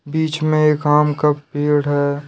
बीच में एक आम का पेड़ है।